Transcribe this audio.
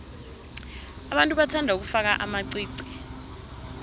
abantu bathanda ukufaka amaqiqi